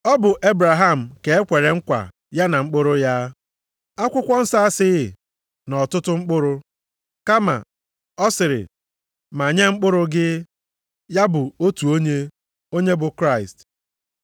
Ọ bụ Ebraham ka e kwere nkwa ya na mkpụrụ ya. Akwụkwọ nsọ asịghị, “nʼọtụtụ mkpụrụ,” + 3:16 \+xt Jen 12:7; 13:15; 24:7\+xt* kama, ọ sịrị, “ma nye mkpụrụ gị,” ya bụ otu onye, onye bụ Kraịst.